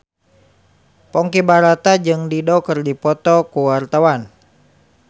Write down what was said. Ponky Brata jeung Dido keur dipoto ku wartawan